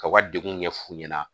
Ka u ka degun ɲɛ f'u ɲɛna